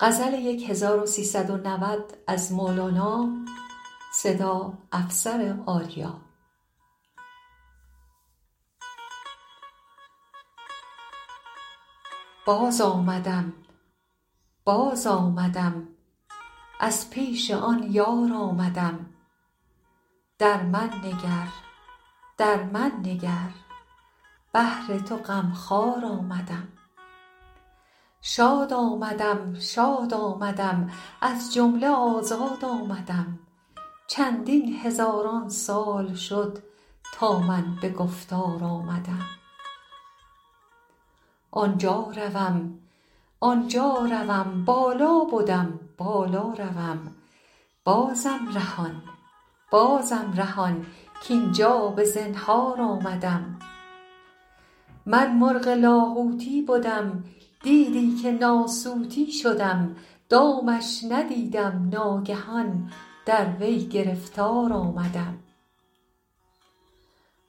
باز آمدم باز آمدم از پیش آن یار آمدم در من نگر در من نگر بهر تو غم خوار آمدم شاد آمدم شاد آمدم از جمله آزاد آمدم چندین هزاران سال شد تا من به گفتار آمدم آن جا روم آن جا روم بالا بدم بالا روم بازم رهان بازم رهان کاین جا به زنهار آمدم من مرغ لاهوتی بدم دیدی که ناسوتی شدم دامش ندیدم ناگهان در وی گرفتار آمدم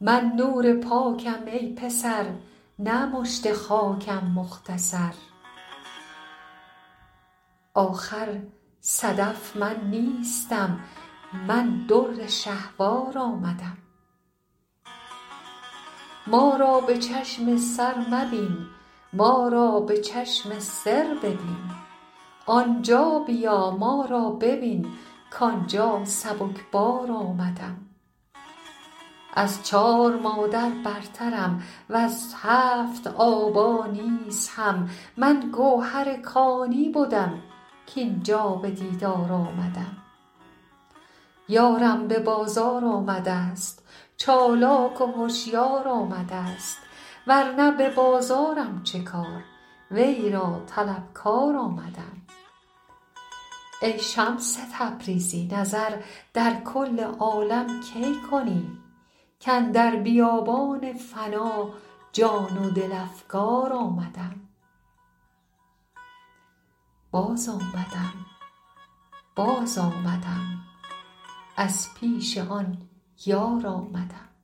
من نور پاکم ای پسر نه مشت خاکم مختصر آخر صدف من نیستم من در شهوار آمدم ما را به چشم سر مبین ما را به چشم سر ببین آن جا بیا ما را ببین کاین جا سبک بار آمدم از چار مادر برترم وز هفت آبا نیز هم من گوهر کانی بدم کاین جا به دیدار آمدم یارم به بازار آمده ست چالاک و هشیار آمده ست ور نه به بازارم چه کار وی را طلبکار آمدم ای شمس تبریزی نظر در کل عالم کی کنی کاندر بیابان فنا جان و دل افگار آمدم